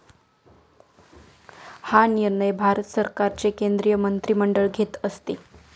हा निर्णय भारत सरकारचे केंद्रीय मंत्रिमंडळ घेत असते.